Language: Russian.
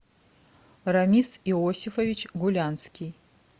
рамис иосифович гулянский